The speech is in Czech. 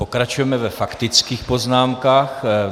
Pokračujeme ve faktických poznámkách.